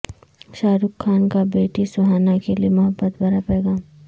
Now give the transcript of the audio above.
شاہ رخ خان کا بیٹی سہانا کے لیے محبت بھرا پیغام